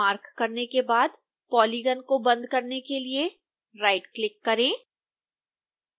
पूरी सीमा को मार्क करने के बाद पॉलीगन को बंद करने के लिए राइटक्लिक करें